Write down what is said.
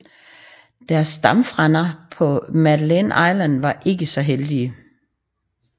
Deres stammefrænder på Madeline Island var ikke så heldige